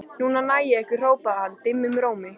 Núna næ ég ykkur hrópaði hann dimmum rómi.